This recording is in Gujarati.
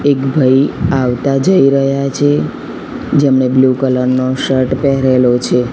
એક ભઈ આવતા જઈ રહ્યા છે જેમણે બ્લુ કલર નો શર્ટ પહેરેલો છે.